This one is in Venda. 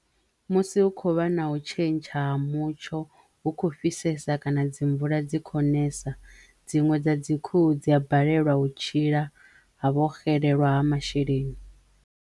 Musi hu kho vha na u tshentsha ha mutsho hu kho fhisesa kana dzi mvula dzi kho nesa dziṅwe dza dzi khuhu dzi a balelwa u tshila ha vho xelelwa ha masheleni.